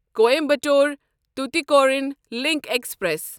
Coimbatore Tuticorin link express